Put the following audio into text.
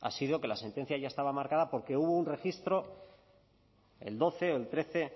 ha sido que la sentencia ya estaba marcada porque hubo un registro el doce o el trece